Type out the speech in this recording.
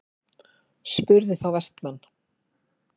spurði þá Vestmann.